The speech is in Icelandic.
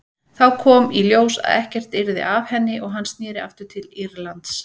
Þá kom í ljós að ekkert yrði af henni og hann sneri aftur til Írlands.